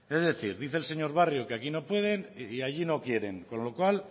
es decir dice el señor barrio que aquí no pueden y allí no quieren con lo cual